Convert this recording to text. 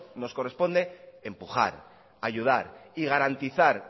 nos corresponde empujar ayudar y garantizar